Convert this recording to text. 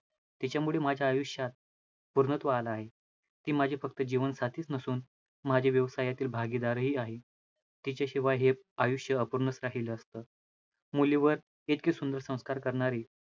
तिच्यामुळे माझ्या आयुष्यात पूर्णत्व आलं आहे, ती माझी फक्त जीवन साथीचं नसुन माझ्या व्यवसायातील भागीदारही आहे, तिच्याशिवाय हे आयुष्य अपूर्णचं राहिलं असतं. मुलीवर इतके सुंदर संस्कार करणारी